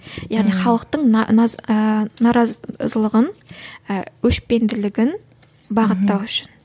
яғни халықтың ы наразылығын і өшпенділігін бағыттау үшін